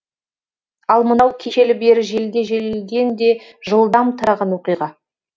ал мынау кешелі бері желіде желден де жылдам тараған оқиға